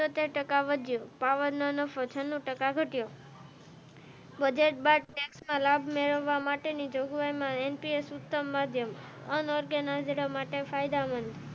એંકલબ મેળવવા માટેની M. P. S અનઓર્ગેનાઈઝેશન માટેની ફાયદામંદ,